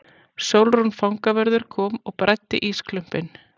Sólrún fangavörður kom og bræddi ísklumpinn.